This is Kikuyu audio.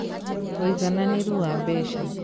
Ũigananĩru wa Mbeca: